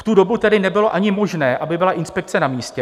V tu dobu tedy nebylo ani možné, aby byla inspekce na místě.